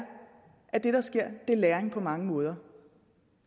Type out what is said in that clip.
at det der sker er læring på mange måder